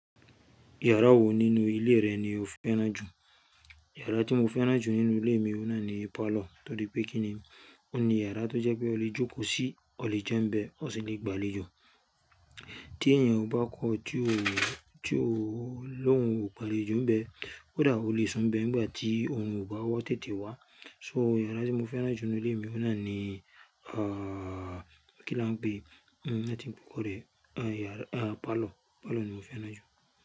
Yàrá wo nínú ilé rẹ ni o fẹ́ràn jù? Yàrá tí mo fẹ́ràn jù nínú ilé mi, ó náà ni parlour, torí pé kíni, ó ní yàrá tó jẹ́ pé o lè jókòó sí, o lè jẹun bẹ́, o sì lè gbàléjo. Tí èèyàn bá kọju, tí òun, tí òun ló ń gbàlé jù bẹ́, ó dáa o lè sùn bẹ́ nígbà tí òun ò bá wá tètè wá. So yàrá tí mo fẹ́ràn jù nínú ilé mi, ó náà ni, àá, kí ni wọ́n ń pè? Hhn, láti ń pe ọ̀rẹ́, à, yàrá, à, parlour, parlour ni mo fẹ́ràn jù.